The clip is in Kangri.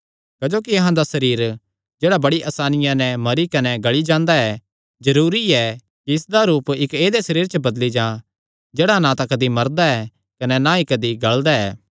क्जोकि अहां दा एह़ सरीर जेह्ड़ा बड़ी असानिया नैं मरी कने गल़ी जांदा ऐ जरूरी ऐ कि इसदा रूप इक्क ऐदेय सरीरे च बदली जां जेह्ड़ा ना तां कदी मरदा कने ना ई कदी गल़दा